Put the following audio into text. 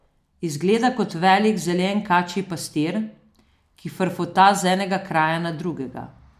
Izgleda kot velik zelen kačji pastir, ki frfota z enega kraja na drugega.